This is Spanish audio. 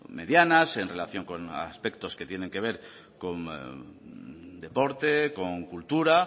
medianas en relación con aspectos que tienen que ver con deporte con cultura